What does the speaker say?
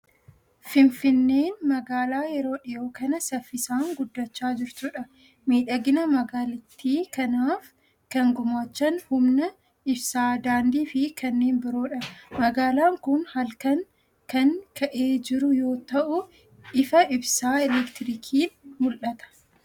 Fifinneen magaalaa yeroo dhiyoo kana saffisaan guddachaa jirtudha. Miidhagina magaalittii kanaaf kan gumaachan humna ibsaa, daandii fi kanneen biroodha. Magaalaan kun halkan kan ka'ee jiru yoo ta'u, ifa ibsaa elektirikiin mul'ata.